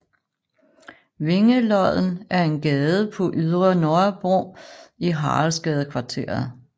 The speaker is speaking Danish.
Vingelodden er en gade på Ydre Nørrebro i Haraldsgadekvarteret